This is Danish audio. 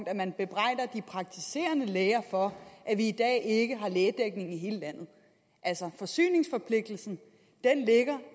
at man bebrejder de praktiserende læger for at vi i dag ikke har lægedækning i hele landet altså forsyningsforpligtelsen ligger